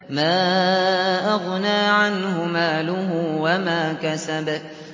مَا أَغْنَىٰ عَنْهُ مَالُهُ وَمَا كَسَبَ